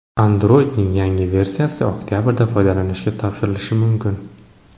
Android’ning yangi versiyasi oktabrda foydalanishga topshirilishi mumkin.